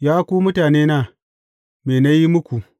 Ya ku mutanena, me na yi muku?